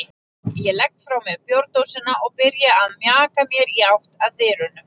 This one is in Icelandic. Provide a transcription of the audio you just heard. Ég legg frá mér bjórdósina og byrja að mjaka mér í átt að dyrunum.